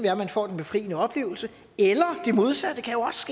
at man får den befriende oplevelse eller at det modsatte